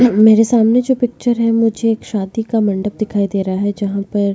मेरे सामने जो पिक्चर है मुझे एक शादी का मंडप दिखाई दे रहा है जहां पर --